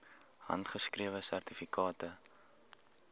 handgeskrewe sertifikate